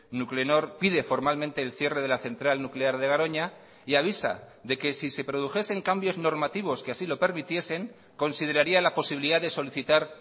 nuclenor pide formalmente el cierre de la central nuclear de garoña y avisa de que si se produjesen cambios normativos que así lo permitiesen consideraría la posibilidad de solicitar